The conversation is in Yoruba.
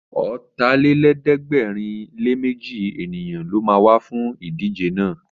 Ọ̀tàlélẹ̀ẹ́dẹ́gbẹ̀rinléméjì èèyàn ló ma wá fún ìdíje náà